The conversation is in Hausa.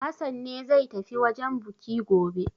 Hassan ne zai tafi wajen buki gobe.